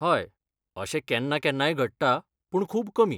हय, अशें केन्ना केन्नाय घडटा, पूण खूब कमी.